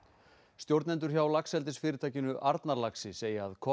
stjórnendur hjá Arnarlaxi segja að